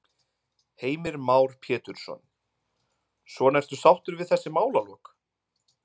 Heimir Már Pétursson: Svona ertu sáttur við þessi málalok?